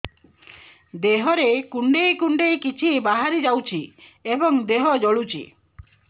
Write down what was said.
ଦେହରେ କୁଣ୍ଡେଇ କୁଣ୍ଡେଇ କିଛି ବାହାରି ଯାଉଛି ଏବଂ ଦେହ ଜଳୁଛି